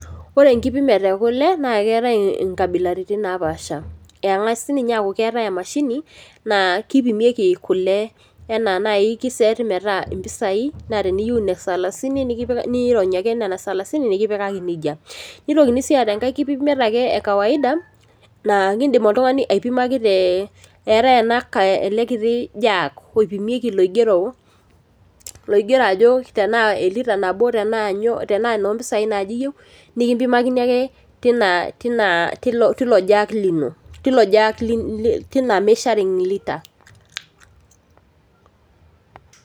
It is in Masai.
Ore entipimit ekule naa keetai enkabilaritin naapasha, enkasi ninye aaku keetai emashini naa kipimieki kule enaa naai kiseeti metaa impisai naa teniyieu inesalasini niirony ake nena esalasini nikipikaki nejia. Nitokini sii aata enkae kipimiet ekawaida naakidimi oltungani aipimaki te etaa ele kiti jaak oipimieki loigero ajo tenaa elita nabo tenaa enoo mpisai naaje iyieu nikimpimakani ake tilo jaak lino tina measuring litre.